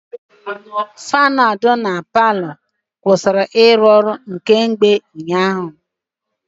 Faanụ ahụ dị na palọ kwụsịrị ịrụ ọrụ kemgbe ụnyaahụ.